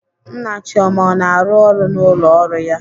Nna Chioma ọ na-arụ ọrụ n'ụlọ ọrụ ya?